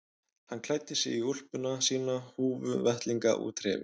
Hann klæddi sig í úlpuna sína, húfu, vettlinga og trefil.